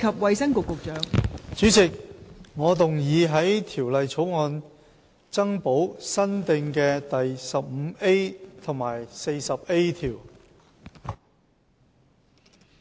代理主席，我動議在《條例草案》增補新訂的第 15A 及 40A 條。